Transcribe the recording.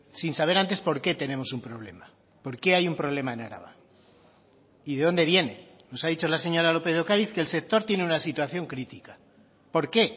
sin saber antes por qué tenemos un problema por qué hay un problema en araba y de dónde viene nos ha dicho la señora lópez de ocariz que el sector tiene una situación crítica por qué